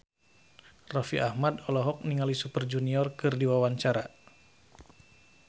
Raffi Ahmad olohok ningali Super Junior keur diwawancara